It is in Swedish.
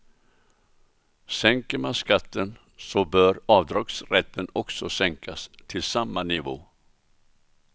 Sänker man skatten så bör avdragsrätten också sänkas till samma nivå.